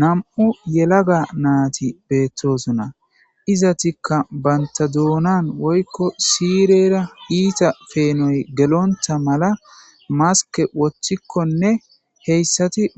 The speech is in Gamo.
Nam77u yelaga naati beettoosonna. Izetikka bantta duuna woykko siirera iita peenoy gelontta malamaskke woththikkonne